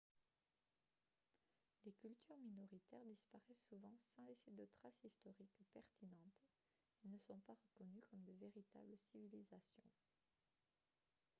les cultures minoritaires disparaissent souvent sans laisser de traces historiques pertinentes et ne sont pas reconnues comme de véritables civilisations